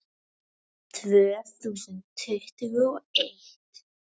Tvö þúsund tuttugu og eitt